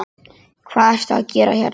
Hvað ertu að gera hérna?